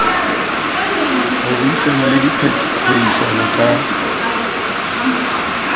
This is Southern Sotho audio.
ho buisana le diphehisano ka